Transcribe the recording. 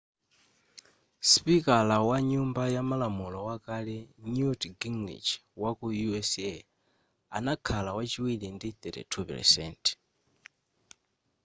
sipikala wa nyumba yamalamulo wakale newt gingrich waku u.s. anakhala wachiwiri ndi 32 %